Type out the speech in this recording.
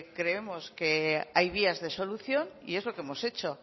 creemos que hay vías de solución y es lo que hemos hecho